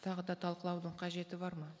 тағы да талқылаудың қажеті бар ма